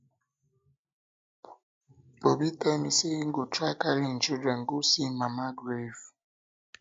obi tell me say he go try carry im children go see im mama grave